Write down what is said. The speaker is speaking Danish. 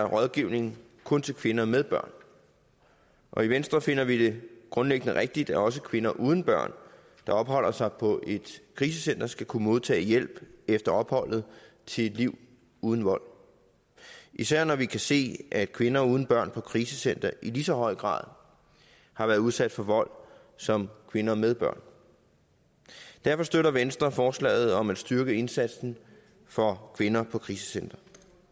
rådgivning kun til kvinder med børn og i venstre finder vi det grundlæggende rigtigt at også kvinder uden børn der opholder sig på et krisecenter skal kunne modtage hjælp efter opholdet til et liv uden vold især når vi kan se at kvinder uden børn på krisecentre i lige så høj grad har været udsat for vold som kvinder med børn derfor støtter venstre forslaget om at styrke indsatsen for kvinder på krisecentre